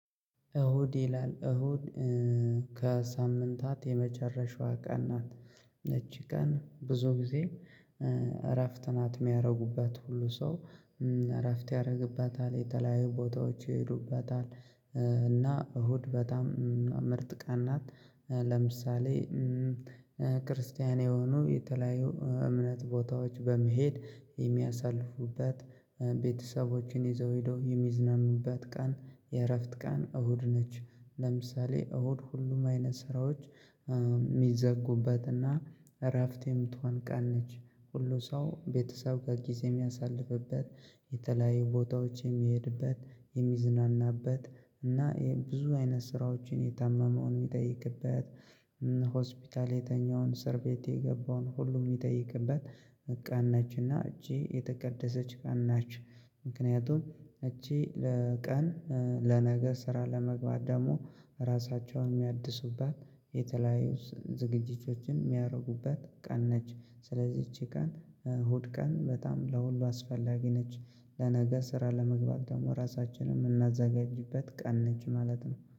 እሁድ ይላል እሁድ ከሳምንታት የመጨረሻዋ ቀን ናት። እቺ ቀን ብዙ ጊዜ። እረፍት ናት ያደርጉባት ሁሉ ሰው እረፍት ያደርግበታል የተለያዩ ቦታዎች ይሄዱባታል። እና እሁድ በጣም ምርጥ ቀን ናት። ለምሳሌ ክርስቲያን የሆኑ የተለያዩ እምነት ቦታዎች በመሄድ የሚያሳልፉበት ቤተሰቦችን ይዘው ሄደው የሚዝናኑበት ቀን የእረፍት ቀን እሁድ ነች። ለምሳሌ እሁድ ሁሉም አይነት ስራዎች የሚዘጉበትና እረፍት የምትሆን ቀን ነች። ሁሉ ሰው ቤተሰብ በጊዜ የሚያሳልፍበት የተለያየ ቦታዎች የሚሄድበት የሚዝናናበት እና ብዙ አይነት ስራዎችን የታመመውን የሚጠይቅበት ሆስፒታል የተኛውን እስር ቤት የገባውን ሁሉ የሚጠይቅበት ቀን ነች። እና እች የተቀደሰች ቀን ነች። ምክንያቱም እች ለቀን ለነገ ስራ ለመግባት ደግሞ ራሳቸውን የሚያድሱባት የተለያዩ ዝግጅቶችን የሚያደርጉበት ቀን ነች። ስለዚህ እቺ ቀን እሁድ ቀን በጣም ለሁሉ አስፈላጊ ነች። ለነገ ስራ ለመግባት ደግሞ ራሳችንን የምናዘጋጅበት ቀን ነች ማለት ነው።